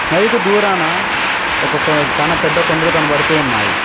నది కి దూరన ఒక చానా పెద్ద కొండలు కనబడుతున్నాయి.